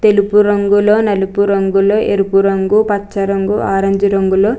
తెలుపు రంగులో నలుపు రంగులో ఎరుపు రంగు పచ్చ రంగు ఆరెంజ్ రంగులో --